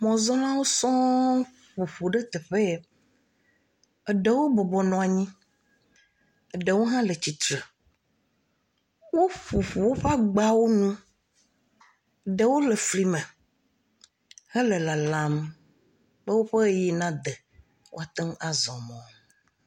Mɔzɔlawo sɔ ƒoƒu ɖe teƒeya. Eɖewo bɔbɔbnɔ anyi, eɖewo hã le tsitre. Woƒoƒo woƒe agbawo nu, ɖewo le fli me hele lalam be woƒe ʋeyiʋi na de woateŋ azɔ mɔ.